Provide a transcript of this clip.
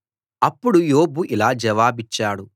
అప్పుడు యోబు ఇలా జవాబిచ్చాడు